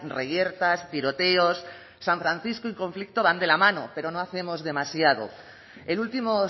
reyertas tiroteos san francisco y conflicto van de la mano pero no hacemos demasiado el último